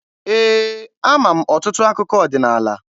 Ee, ama m ọtụtụ akụkọ ọdịnaala.